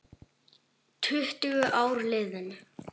Tuttugu ár liðin.